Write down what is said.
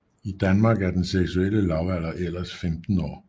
I Danmark er den seksuelle lavalder ellers 15 år